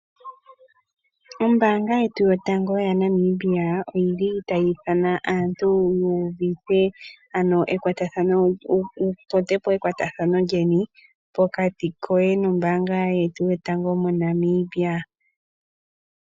Ombaanga yetu yotango yaNamibia oyili tayi ithana aantu ano yu udhithe ano yatotepo ekwatathano pokati nombaanga yotango Monamibia.